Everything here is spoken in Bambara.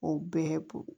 O bɛɛ bo